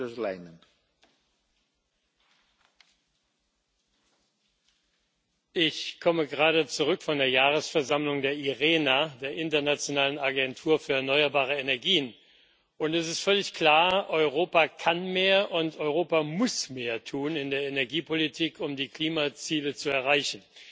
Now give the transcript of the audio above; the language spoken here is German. Herr Präsident! Ich komme gerade zurück von der Jahresversammlung der IRENA, der Internationalen Agentur für Erneuerbare Energien, und es ist völlig klar Europa kann mehr und Europa muss mehr in der Energiepolitik tun, um die Klimaziele zu erreichen.